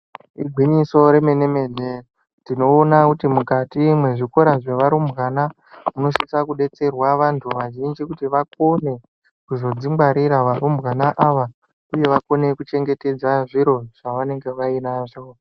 Igwinyiso re mene mene tinoona kuti mukati mwe zvikora zveva rumbwana munosisa ku detserwa vantu vazhinji kuti vakone kuzodzi ngwarira va rumbwana ava uye vakone ku chengetedza zviro zvavanenge vainazvo.